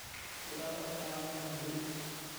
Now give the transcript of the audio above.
ntobira oltaa mpaka abori